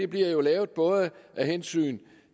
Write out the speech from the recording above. bliver lavet af hensyn